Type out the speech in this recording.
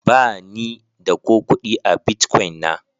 Ba ni da ko kudi a Bitcoin na.